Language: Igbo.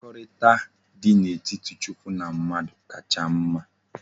Mmekorita di na etiti chukwu na mmadu kacha mma